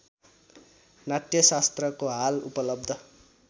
नाट्यशास्त्रको हाल उपलब्ध